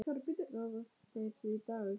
Ráða þeir því, Dagur?